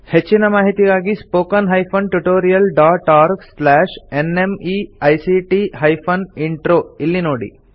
ಹೆಚ್ಚಿನ ಮಾಹಿತಿಗಾಗಿ spoken hyphen tutorial dot org slash NMEICT hyphen intro ಇಲ್ಲಿ ನೋಡಿ